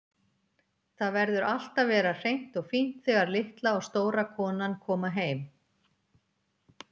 Það verður allt að vera hreint og fínt þegar litla og stóra konan koma heim.